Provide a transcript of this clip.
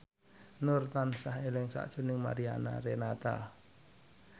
Nur tansah eling sakjroning Mariana Renata